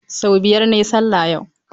Sau biyar na yi sallah yau.